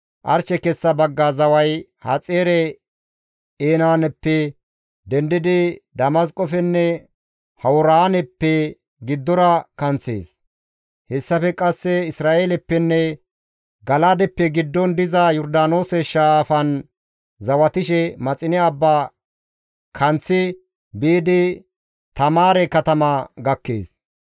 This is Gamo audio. «Arshe kessa bagga zaway Haxaare-Enaanappe dendidi, Damasqofenne Hawuraaneppe giddora kanththees. Hessafe qasse Isra7eeleppenne Gala7aadeppe giddon diza Yordaanoose shaafan zawatishe, Maxine abba kanththi biidi Taamaare katama gakkees.